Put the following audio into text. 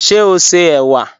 Ṣé o ṣé ewa?